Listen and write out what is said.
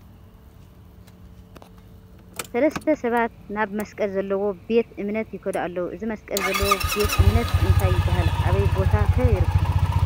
ሰለስተ ሰባት ናብ መስቀል ዘለዎ ቤተ እምነት ይከዱ ኣለዉ ። እዚ መስቀል ዘለዎ ቤተ እምነት እንታይ ይበሃል ኣብይ ቦታ ከ ይርከብ ?